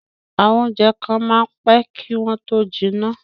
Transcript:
àwọn oúnjẹ kan máa ń pẹ́ kí wọ́n tó jiná